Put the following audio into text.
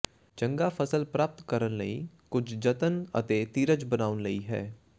ਚੰਗਾ ਫਸਲ ਪ੍ਰਾਪਤ ਕਰਨ ਲਈ ਕੁਝ ਜਤਨ ਅਤੇ ਧੀਰਜ ਬਣਾਉਣ ਲਈ ਹੈ